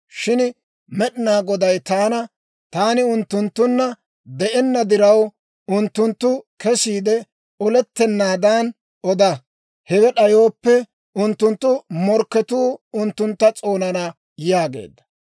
«Shin Med'inaa Goday taana, ‹Taani unttunttunna de'enna diraw, unttunttu kesiide olettenaadan oda; hewe d'ayooppe unttunttu morkketuu unttuntta s'oonana› yaageedda.